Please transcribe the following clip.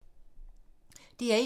DR1